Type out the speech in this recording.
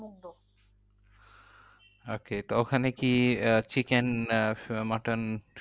Okay তো ওখানে কি আহ chicken আহ mutton